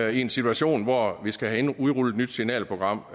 i en situation hvor vi skal have udrullet et nyt signalprogram